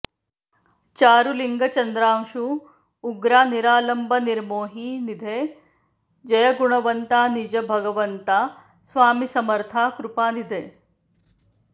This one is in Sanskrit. चारुलिंग चंद्रांशू उग्रा निरालंब निर्मोही निधे जय गुणवंता निज भगवंता स्वामी समर्था कृपानिधे